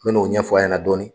Mɛ n'o ɲɛfɔ a ɲɛna dɔɔni.